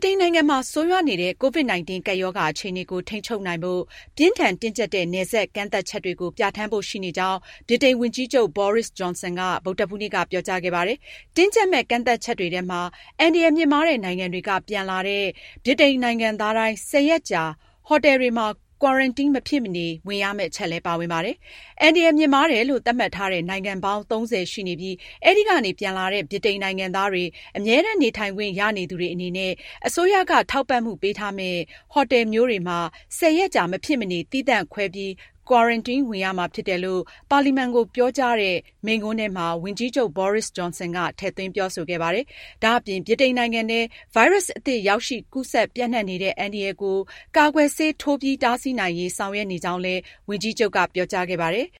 တိန်နိုင်ငံမှာ ဆိုးရွားနေတဲ့ COVID-19 ကပ်ရောဂါအခြေအနေကို ထိန်းချုပ်နိုင်ဖို့ပြင်းထန် တင်းကျပ်တဲ့ နယ်စပ်ကန့်သတ်ချက်တွေကို ပြဌာန်းဖို့ရှိနေကြောင်း ဗြိတိန် ဝန်ကြီးချုပ် Boris Johnson က ဗုဒ္ဓဟူးနေ့ က ကြေညာခဲ့ပါတယ်။ တင်းကျပ်မယ့် ကန့်သတ်ချက်တွေထဲမှာအန္တရာယ်မြင့်မားတဲ့ နိုင်ငံတွေက ပြန်လာလာတဲ့ ဗြိတိန်နိုင်ငံသားတိုင်း ၁၀ ရက်ကြာ ဟိုတယ်တွေမှာ quarantine မဖြစ်မနေဝင်ရမယ့် အချက်လည်း ပါဝင်ပါတယ်။ အန္တရာယ်မြင့်မားတယ်လို့ သတ်မှတ်ထားတဲ့ နိုင်ငံပေါင်း ၃၀ ရှိနေပြီး အဲဒီကနေ ပြန်လာတဲ့ ဗြိတိန်နိုင်ငံသားတွေ၊အမြဲတမ်း နေထိုင်ခွင့်ရနေသူတွေအနေနဲ့ အစိုးရက ထောက်ပံ့မှုပေးထားမယ့် ဟိုတယ်မျိုးတွေမှာ ၁၀ ရက်ကြာ မဖြစ်မနေ သီးသန့် ခွဲပြီး quarantine ဝင်ရမှာ ဖြစ်တယ်လို့ပါလီမန်ကို ပြောကြားတဲ့သူ့ မိန့်ခွန်းထဲမှာ ဝန်ကြီးချုပ် ဂျွန်ဆင်က ထည့်သွင်းပြောဆိုခဲ့ပါတယ်။ ဒါအပြင် ဗြိတိန်နိုင်ငံထဲ ဗိုင်းရပ်စ်အသစ် ရောက်ရှိ ကူးစက်ပြန့်နှံ့နေတဲ့အန္တရာယ်ကို ကာကွယ်ဆေးထိုးပြီး တားဆီးနိုင်ရေး ဆောင်ရွက်နေကြောင်းလည်း ဝန်ကြီးချုပ်က ပြောကြားခဲ့ပါတယ်။